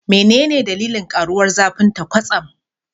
Menene dalilin karuwar zafinta kwatsam?